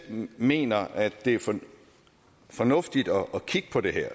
mener at det er fornuftigt at kigge på det